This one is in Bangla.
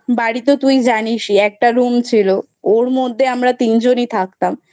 বাড়ি তো তুই জানিসই একটা Room ছিল ওর মধ্যে আমরা তিনজনই থাকতাম